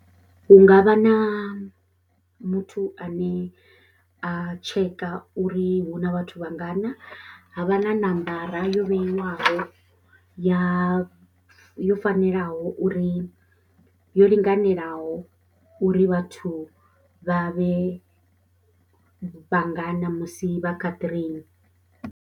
Hu nga vha na muthu ane a tsheka uri hu na vhathu vhangana, ha vha na nambara yo vheiwaho ya yo fanelaho uri yo linganelaho uri vhathu vha vhe vhangana musi vha kha train.